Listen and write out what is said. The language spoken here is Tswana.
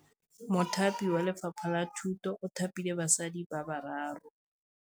Mothapi wa Lefapha la Thutô o thapile basadi ba ba raro.